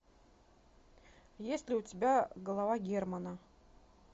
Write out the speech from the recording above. есть ли у тебя голова германа